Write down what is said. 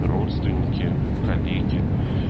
родственники коллеги